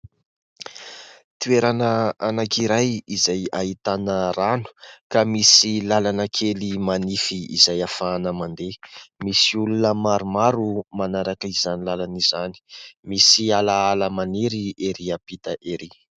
Toerana anankiray izay ahitana rano ka misy làlana kely manify izay ahafahana mandeha, misy olona maromaro manaraka izany làlana izany, misy alaala maniry erỳ ampita erỳ.